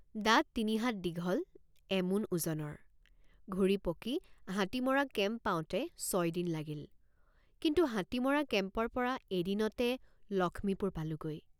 দাঁত তিনিহাত দীঘল এমোন ওজনৰ। দাঁত তিনিহাত দীঘল এমোন ওজনৰ। ঘূৰিপকি হাতী মৰা কেম্প পাওঁতে ছয় দিন লাগিল কিন্তু হাতী মৰা কেম্পৰপৰা এদিনতে লক্ষ্মীপুৰ পালোঁগৈ।